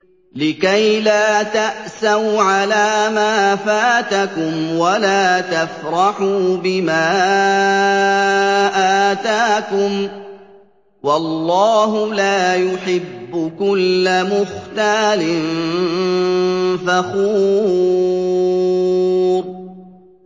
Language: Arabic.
لِّكَيْلَا تَأْسَوْا عَلَىٰ مَا فَاتَكُمْ وَلَا تَفْرَحُوا بِمَا آتَاكُمْ ۗ وَاللَّهُ لَا يُحِبُّ كُلَّ مُخْتَالٍ فَخُورٍ